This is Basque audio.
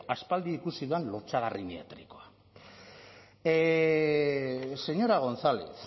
aspaldi ikusi dudan lotsagarri mediatikoa señora gonzález